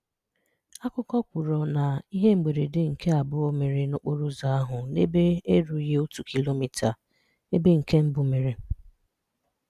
Àkụ́kọ́ kwùrọ̀ na íhè mberèndè nke ábụọ̀ mere n’okporoùzò ahụ n’èbé erughị otu kilomíta ebe nke mb̀ụ̀ mere